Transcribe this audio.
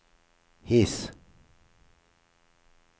His